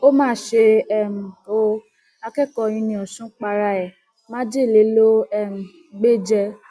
ó mà ṣe um o akẹkọọ uniosun para ẹ májèlé ló um gbé jẹ